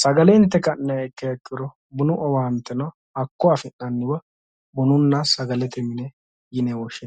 sagale inte ka'niha ikkiya ikkiro bunu owaanteno hakko afi'nanniwa bununna sagalete mine yine woshshinanni.